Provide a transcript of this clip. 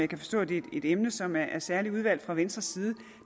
kan forstå at det er et emne som er særlig udvalgt fra venstres side